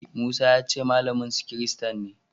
Musa ya ce malaminsu kirista ne.